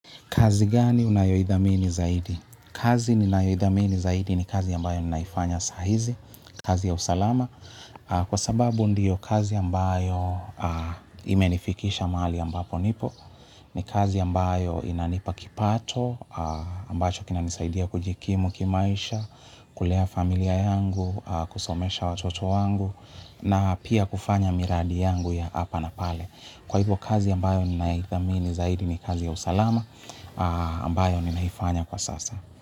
Kazi gani unayoidhamini zaidi? Kazi ninaoidhamini zaidi ni kazi ambayo ninaifanya sahizi, kazi ya usalama. Kwa sababu ndiyo kazi ambayo imenifikisha mahali ambapo nipo. Ni kazi ambayo inanipa kipato, ambacho kinanisaidia kujikimu kimaisha, kulea familia yangu, kusomesha watoto wangu, na pia kufanya miradi yangu ya hapa na pale. Kwa hivyo kazi ambayo ninaithamini zaidi ni kazi ya usalama. Ambayo ninaifanya kwa sasa.